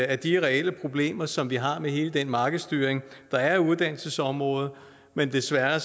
af de reelle problemer som vi har med hele den markedsstyring der er af uddannelsesområdet men desværre